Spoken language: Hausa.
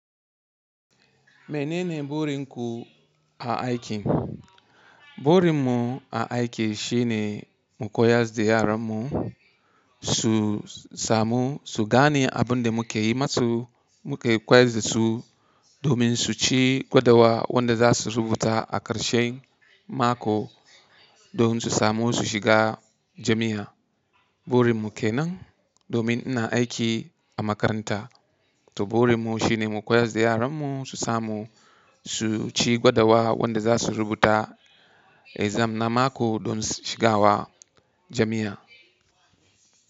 Menene burin ku a aiki? Burin mu a aiki shi ne mu koyar da yaran mu su samu, su gane abin da muke yi masu. Muke koyar da su domin su ci gwadawa wanda za su rubuta a ƙarshen mako, domin su samu su shiga jami'a. Burin mu ke nan domin ina aiki a makaranta. To burin mu shine mu koyar da yaran mu su samu su ci gwadawa wanda za su rubuta exam na mako don shiga wa jami'a.